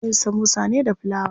Ana yin samosa ne da filawa.